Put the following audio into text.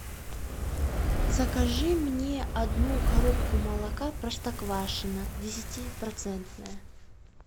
закажи мне одну коробку молока простоквашино десятипроцентное